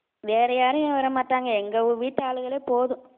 வேற யாரும் வரமாட்டாங்க எங்க வீட்டு ஆளுங்களே போதும்